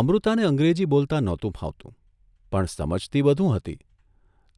અમૃતાને અંગ્રેજી બોલતાં નહોતું ફાવતું પણ સમજતી બધું હતી